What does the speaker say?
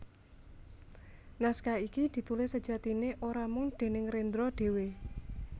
Naskah iki ditulis sejatiné ora mung déning Rendra dhéwé